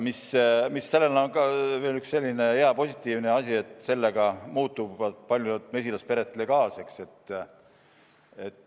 Mis on veel üks selline hea, positiivne asi, et sellega muutuvad paljud mesilaspered legaalseks.